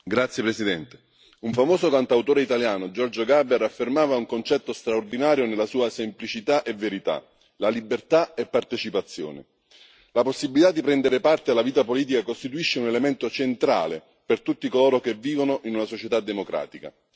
Signora Presidente, onorevoli colleghi, un famoso cantautore italiano, Giorgio Gaber, affermava un concetto straordinario nella sua semplicità e verità la libertà è partecipazione. La possibilità di prendere parte alla vita politica costituisce un elemento centrale per tutti coloro che vivono in una società democratica.